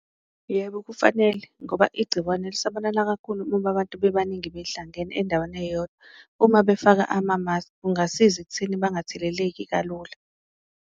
Yebo, kufanele ngoba igciwane lisabalala kakhulu uma abantu bebaningi behlangene endaweni eyodwa, uma befaka amamaskhi kungasiza ekutheni bangatheleleki kalula.